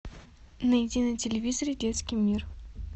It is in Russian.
найди на телевизоре детский мир